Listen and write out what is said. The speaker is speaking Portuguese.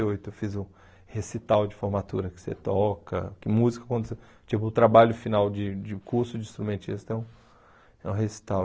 e oito. Eu fiz o recital de formatura que você toca, que música quando você... Tipo, o trabalho final de de curso de instrumentista é um é um recital.